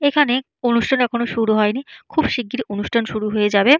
এখানে অনুষ্ঠান এখনো শুরু হয়নি। খুব শিগগিরি অনুষ্ঠান শুরু হয়ে যাবে-এ।